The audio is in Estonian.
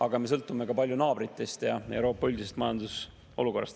Aga me sõltume palju ka naabritest ja Euroopa üldisest majandusolukorrast.